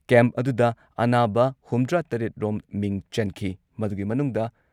Camp ꯑꯗꯨꯨꯗ ꯑꯅꯥꯕ ꯍꯨꯝꯗ꯭ꯔꯥꯇꯔꯦꯠ ꯔꯣꯝ ꯃꯤꯡ ꯆꯟꯈꯤ꯫ ꯃꯗꯨꯒꯤ ꯃꯅꯨꯡꯗ